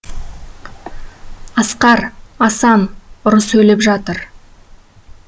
асқар асан ұры сөйлеп жатыр